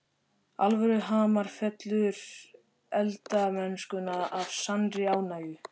Alvöru hamar fyllir eldamennskuna af sannri ánægju.